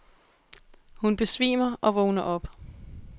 Hun besvimer og vågner op.